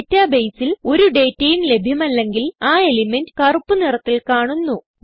databaseൽ ഒരു ഡേറ്റയും ലഭ്യമല്ലെങ്കിൽ ആ എലിമെന്റ് കറുപ്പ് നിറത്തിൽ കാണുന്നു